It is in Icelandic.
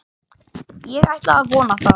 Ég ætla að vona það.